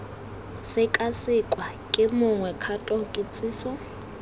sekasekwa ke mongwe kgato kitsiso